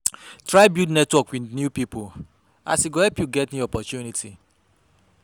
Try build network wit new pipo as e go help yu get new opportunity